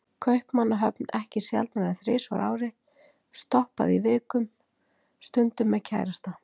Kaupmannahöfn ekki sjaldnar en þrisvar á ári, stoppaði í viku, stundum með kærasta.